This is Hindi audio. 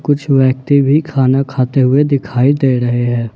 कुछ व्यक्ति भी खाना खाते हुए दिखाई दे रहे हैं।